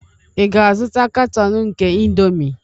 Ị ga-azụta katọn nke indomie?